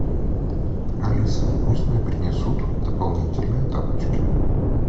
алиса пусть мне принесут дополнительные тапочки